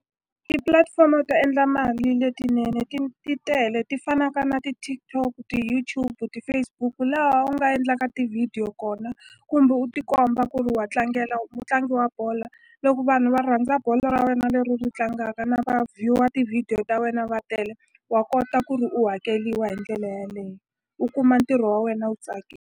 Tipulatifomo to endla mali letinene ti tele ti fanaka na ti-TikTok, ti-YouTube, ti-Facebook laha u nga endlanga tivhidiyo kona kumbe u ti komba ku ve wa tlangela u mutlangi wa bolo loko vanhu va rhandza bolo ra wena leri u ri tlangaka na va view-a tivhidiyo ta wena va tele wa kota ku ri u hakeliwa hi ndlela yeleyo u kuma ntirho wa wena wu .